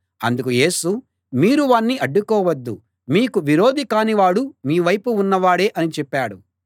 అందుకు యేసు మీరు వాణ్ణి అడ్డుకోవద్దు మీకు విరోధి కాని వాడు మీ వైపు ఉన్నవాడే అని చెప్పాడు